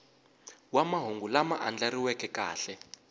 wa mahungu lama andlariweke kahle